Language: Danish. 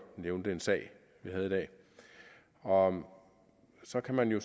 nævnte en sag vi havde i dag og så kan man jo